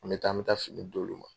An be taa, an be taa fini d'olu ma.